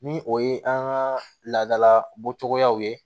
Ni o ye an ka laadala bɔcogoyaw ye